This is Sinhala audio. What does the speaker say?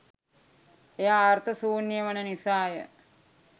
එය අර්ථ ශූන්‍යය වන නිසා ය.